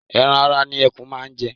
Ẹran ara ni ẹkún máa ń jẹ.